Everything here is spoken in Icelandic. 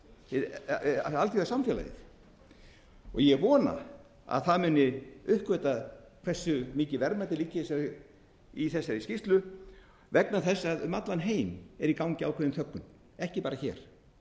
alþjóðasamfélagið og ég vona að það muni uppgötva hversu mikil verðmæti liggja í þessari skýrslu vegna þess að um allan heim er í gangi ákveðin þöggun ekki bara hér